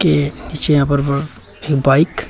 ये नीचे यहां पर बाइक --